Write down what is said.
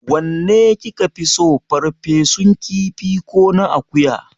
Wanne ki ka fi so, ferfesun kifi ko na akuya?